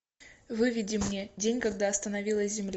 выведи мне день когда остановилась земля